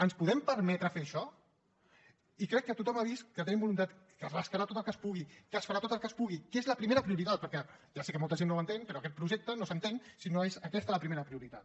ens podem permetre fer això i crec que tothom ha vist que tenim voluntat que es rascarà tot el que es pugui que es farà tot el que es pugui que és la primera prioritat perquè ja sé que molta gent no ho entén però aquest projecte no s’entén si no és aquesta la primera prioritat